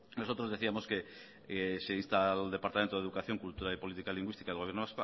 nosotros decíamos que se insta al departamento de educación cultura y política lingüística del gobierno